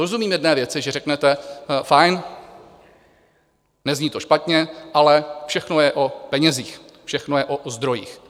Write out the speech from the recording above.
Rozumím jedné věci, že řeknete: Fajn, nezní to špatně, ale všechno je o penězích, všechno je o zdrojích.